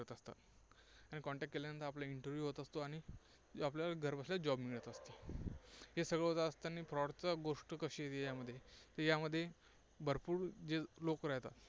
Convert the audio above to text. Contact केल्यानंतर आपला interview असतो आणि आपल्याला घर बसल्या job मिळत असतो. हे सगळं होत असताना fraud चं गोष्टी येते याच्यामध्ये? तर यामध्ये भरपूर जे लोक